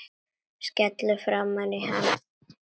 Skellur framan í hann.